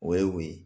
O ye o ye